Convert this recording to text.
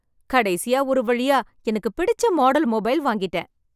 கடைசியா ஒரு வழியா, எனக்குப் பிடிச்ச மாடல் மொபைல் வாங்கிட்டேன்.